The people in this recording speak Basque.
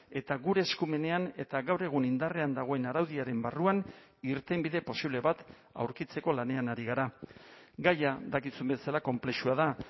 eta gure eskumenean eta gaur egun indarrean dagoen araudiaren barruan irtenbide posible bat aurkitzeko lanean ari gara gaia dakizun bezala konplexua da